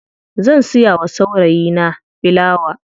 Zan siya wa saurayi na filawa.